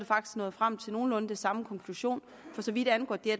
faktisk nået frem til nogenlunde den samme konklusion for så vidt angår det